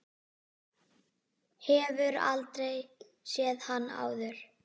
Hefur aldrei séð hann áður.